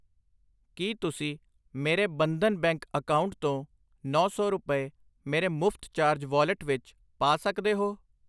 ਕਿ ਤੁਸੀਂ ਮੇਰੇ ਬੰਧਨ ਬੈਂਕ ਅਕਾਊਂਟ ਤੋਂ ਨੌਂ ਸੌ ਰੁਪਏ ਮੇਰੇ ਮੁਫ਼ਤ ਚਾਰਜ ਵਾਲਿਟ ਵਿੱਚ ਪਾ ਸਕਦੇ ਹੋ ?